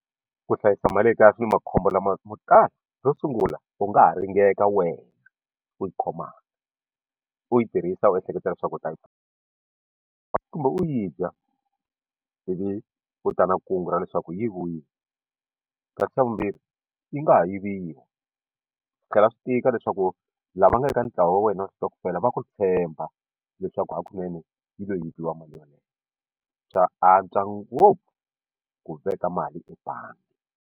Ku hlayisa mali ekaya swi ni makhombo lamotala xo sungula u nga ha ringeka wena u yi khomaka u yi tirhisa u ehleketa leswaku u ta yi kumbe u yi dya ivi u ta na kungu ra leswaku yi yiviwile kasi xa vumbirhi yi nga ha yiviwa swi tlhela swi tika leswaku lava nga eka ntlawa wa wena wa switokofela va ku tshemba leswaku hakunene yi lo yiviwa mali yoleyo swa antswa ngopfu ku veka mali ebangi.